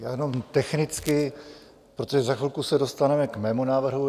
Já jenom technicky, protože za chvilku se dostaneme k mému návrhu.